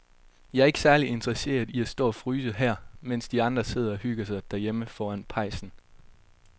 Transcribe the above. Jeg er ikke særlig interesseret i at stå og fryse her, mens de andre sidder og hygger sig derhjemme foran pejsen.